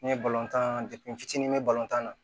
Ne ye balontan n fitinin me tan na